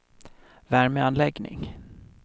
värmeanläggning